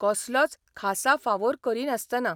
कसलोच खासा फावोर करिनासतना.